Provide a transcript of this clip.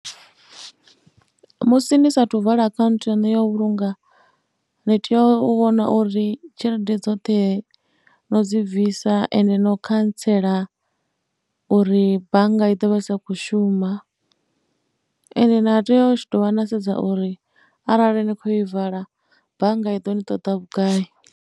Musi ni saathu vala khaunthu yaṋu ya u vhulunga ni tea u vhona uri tshelede dzoṱhe no dzi bvisa ende no khantsela uri bannga i ḓo vha i sa khou shuma. Ende na tea u dovha na sedza uri arali ni khou i vala bannga i ḓo ni ṱoḓa vhugai.